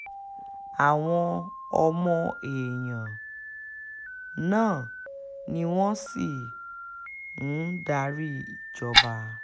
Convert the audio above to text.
àwọn ọmọ èèyàn um náà ni wọ́n sì um ń darí ìjọba